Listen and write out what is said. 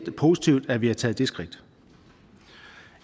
positivt at vi har taget det skridt